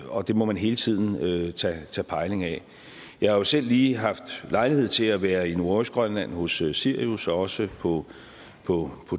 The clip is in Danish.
og det må man hele tiden tage pejling af jeg har selv lige haft lejlighed til at være i nordøstgrønland hos sirius og også på på